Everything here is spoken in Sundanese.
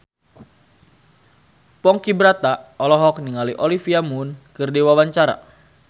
Ponky Brata olohok ningali Olivia Munn keur diwawancara